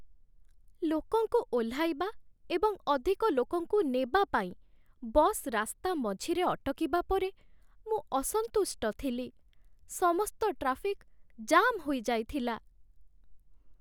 ଲୋକଙ୍କୁ ଓହ୍ଲାଇବା ଏବଂ ଅଧିକ ଲୋକଙ୍କୁ ନେବା ପାଇଁ ବସ୍ ରାସ୍ତା ମଝିରେ ଅଟକିବା ପରେ ମୁଁ ଅସନ୍ତୁଷ୍ଟ ଥିଲି। ସମସ୍ତ ଟ୍ରାଫିକ୍ ଜାମ୍ ହୋଇଯାଇଥିଲା।